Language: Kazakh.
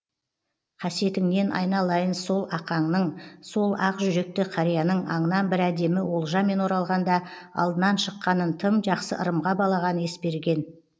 қасиетіңнен айналайын сол ақаңның сол ақ жүректі қарияның аңнан бір әдемі олжамен оралғанда алдынан шыққанын тым жақсы ырымға балаған есберген